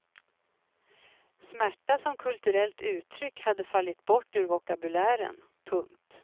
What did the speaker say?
Smärta som kulturellt uttryck hade fallit bort ur vokabulären. punkt